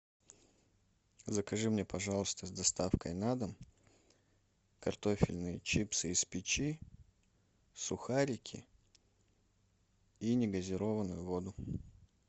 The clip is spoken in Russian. закажи мне пожалуйста с доставкой на дом картофельные чипсы из печи сухарики и негазированную воду